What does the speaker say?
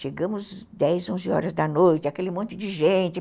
Chegamos dez, onze horas da noite, aquele monte de gente.